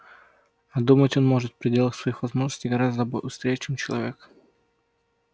а думать он может в пределах своих возможностей гораздо быстрее чем человек